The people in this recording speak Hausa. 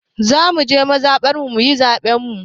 Za mu je mazaɓarmu yin zaɓen mu.